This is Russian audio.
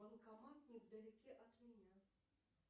банкомат невдалеке от меня